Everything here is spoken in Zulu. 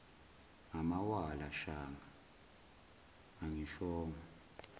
ngamawala shange angishongo